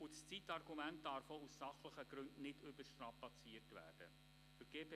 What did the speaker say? Das Zeitargument darf auch aus sachlichen Gründen nicht überstrapaziert werden.